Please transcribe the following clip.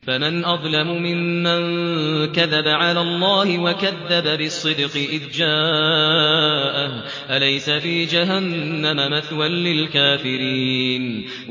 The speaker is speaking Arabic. ۞ فَمَنْ أَظْلَمُ مِمَّن كَذَبَ عَلَى اللَّهِ وَكَذَّبَ بِالصِّدْقِ إِذْ جَاءَهُ ۚ أَلَيْسَ فِي جَهَنَّمَ مَثْوًى لِّلْكَافِرِينَ